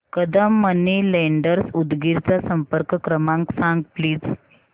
Kadam money lenders Udgir चा संपर्क क्रमांक सांग प्लीज